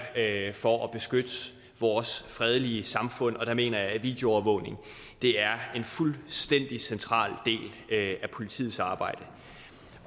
for at beskytte vores fredelige samfund og der mener jeg at videoovervågning er en fuldstændig central del af politiets arbejde